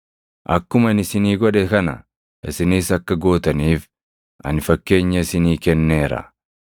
Akkuma ani isinii godhe kana isinis akka gootaniif ani fakkeenya isinii kenneera.